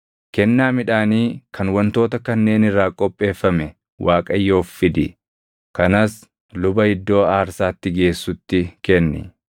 Kennaa midhaanii kan wantoota kanneen irraa qopheeffame Waaqayyoof fidi; kanas luba iddoo aarsaatti geessutti kenni.